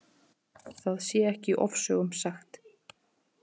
Það sé ekki ofsögum sagt.